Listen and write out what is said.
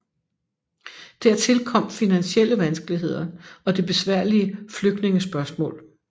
Dertil kom finansielle vanskeligheder og det besværlige flygtningespørgsmål